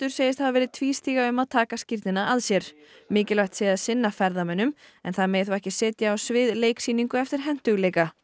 segist hafa verið tvístígandi um að taka skírnina að sér mikilvægt sé að sinna ferðamönnum en það megi þó ekki setja á svið leiksýningu eftir hentugleika